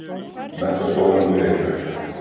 Menntaskólanum í Reykjavík.